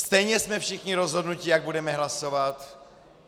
Stejně jsme všichni rozhodnuti, jak budeme hlasovat.